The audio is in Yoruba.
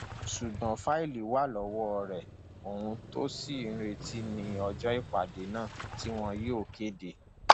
ṣùgbọn fáìlì wà lọwọ rẹ ohun tó ṣì ń retí ní ọjọ ìpàdé náà tí wọn yóò kéde